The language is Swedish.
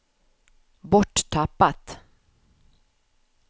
borttappat